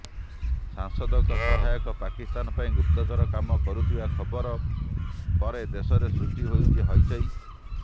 ସାଂସଦଙ୍କ ସହାୟକ ପାକିସ୍ତାନ ପାଇଁ ଗୁପ୍ତଚର କାମ କରୁଥିବା ଖବର ପରେ ଦେଶରେ ସୃଷ୍ଟି ହୋଇଛି ହଇଚଇ